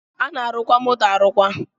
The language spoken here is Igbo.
A na-arụkwa moto arụkwa